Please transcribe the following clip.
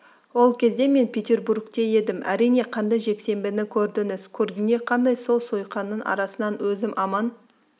ол кезде мен петербургте едім әрине қанды жексенбіні көрдіңіз көргенде қандай сол сойқанның арасынан өзім аман